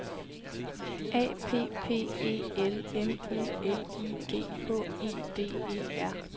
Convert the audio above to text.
A P P E L M U L I G H E D E R